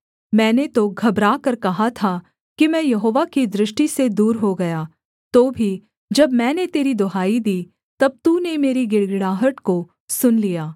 मैंने तो घबराकर कहा था कि मैं यहोवा की दृष्टि से दूर हो गया तो भी जब मैंने तेरी दुहाई दी तब तूने मेरी गिड़गिड़ाहट को सुन लिया